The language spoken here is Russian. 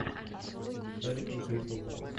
эвертон кристал пэлас